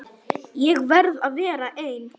Ég verð að vera ein.